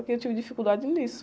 Aqui eu tive dificuldade nisso.